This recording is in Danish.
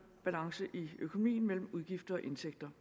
balance i økonomien mellem udgifter og indtægter